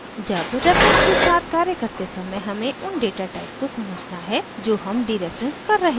जब रेफरेन्सेस के साथ कार्य करते समय हमें उन डेटा टाइप को समझना है जो हम डीरेफरेन्स कर रहे हैं